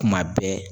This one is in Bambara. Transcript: Kuma bɛɛ